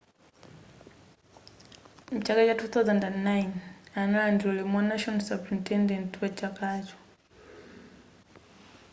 mchaka cha 2009 analandira ulemu wa national superintendent wa chakacho